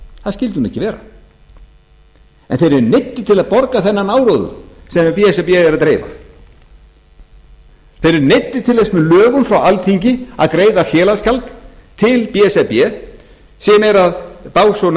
það skyldi nú ekki vera en þeir eru neyddir til að borga annað áróður sem b s r b er að dreifa þeir eru neyddir til þess með lögum frá alþingi að greiða félagsgjald til b s r b sem er básúnar